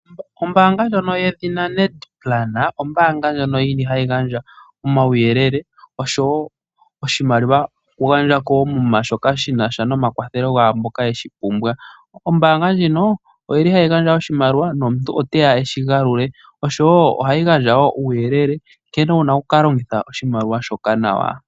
Oombaanga ndjono yedhina NET Plan. Ombaanga ndjono yina omauyelele osho woo oshimaliwa shoku gandja koomuma onga shinasha nomakwathelo gaamboka yeshi pumbwa . Ombaanga ndjino oyili hayi gandja oshimaliwa nomuntu oteya eshi galule . Osho woo ohayi gandja uuyelele nkene wuna oku ka longitha oshimaliwa shoka nawa.